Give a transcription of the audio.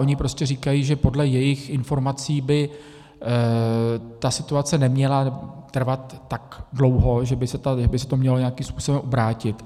Oni prostě říkají, že podle jejich informací by ta situace neměla trvat tak dlouho, že by se to mělo nějakým způsobem obrátit.